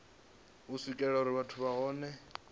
u swikelelwa uri vhathu vhohe